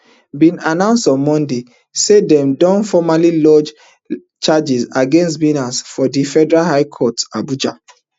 bin announce on monday say dem don formally lodge charges against binance for di federal high court abuja